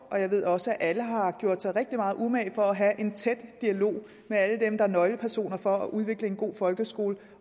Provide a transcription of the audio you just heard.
og jeg ved også at alle har gjort sig rigtig meget umage for at have en tæt dialog med alle dem der er nøglepersoner for at udvikle en god folkeskole